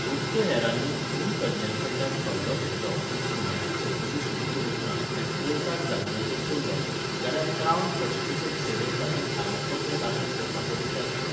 गुप्तहेरांनी खून तज्ञां कडल्यान सल्लो घेतलो पूण खूनाची चवकशी सुरू करूंक ना आनी पोर्टाक जामीनाचेर सोडलो, जाल्यार क्रावन प्रोसिक्युशन सेवेन ताचेर आरोपपत्र दाखल करपाचो विचार केलो.